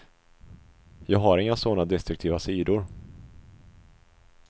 Jag har inga sådana destruktiva sidor.